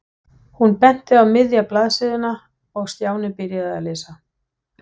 Hún benti á miðja blaðsíðuna og Stjáni byrjaði að lesa.